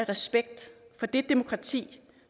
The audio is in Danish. respekt for det demokrati